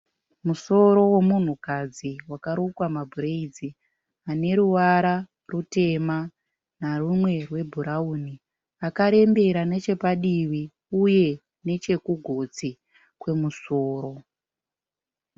Musoro wemunhukadzi wakarukwa mabhurayidzi ane ruvara rutema narumwe rwebhurauni akarembera nechapadivi uye nechekugotsi kwemusoro.